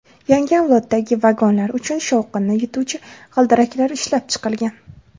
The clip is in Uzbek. Yangi avloddagi vagonlar uchun shovqinni yutuvchi g‘ildiraklar ishlab chiqilgan.